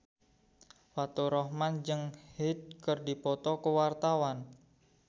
Faturrahman jeung Hyde keur dipoto ku wartawan